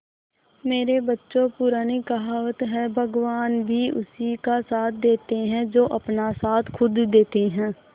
मेरे बच्चों पुरानी कहावत है भगवान भी उसी का साथ देते है जो अपना साथ खुद देते है